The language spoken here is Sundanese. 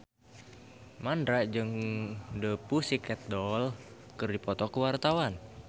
Mandra jeung The Pussycat Dolls keur dipoto ku wartawan